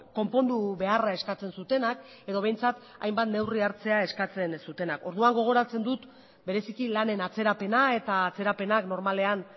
konpondu beharra eskatzen zutenak edo behintzat hainbat neurri hartzea eskatzen ez dutenak orduan gogoratzen dut bereiziki lanen atzerapena eta atzerapenak normalean